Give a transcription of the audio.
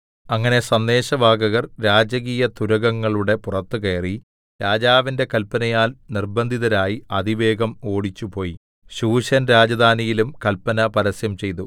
അങ്ങനെ സന്ദേശവാഹകർ രാജകീയതുരഗങ്ങളുടെ പുറത്ത് കയറി രാജാവിന്റെ കല്പനയാൽ നിർബന്ധിതരായി അതിവേഗം ഓടിച്ചുപോയി ശൂശൻ രാജധാനിയിലും കല്പന പരസ്യം ചെയ്തു